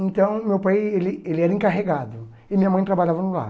Então meu pai ele ele era encarregado e minha mãe trabalhava no lar.